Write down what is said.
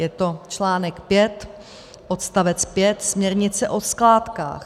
Je to článek 5, odst. 5 směrnice o skládkách.